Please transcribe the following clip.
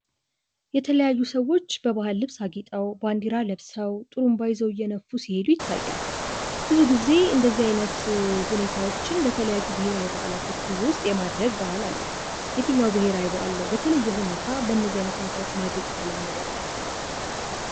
የተለያዩ ሰዎች በባህል ልብስ አጊጠው ባንዲራ ለብሰው ጥሩምባ ይዘው እየነፉ ሲሄዱ ይታያል። ብዙ ጊዜ እንደዚህ አይነት ሁኔታዎችን በተለያዩ ብሔራዊ በአላቶች ውስጥ የማድረግ የተለመደ ነው። የትኛው ብሔራዊ በአል በተለየ ሁኔታ በእደዚህ አይነት ሁኔታዎች ማድረግ የተለመደበት?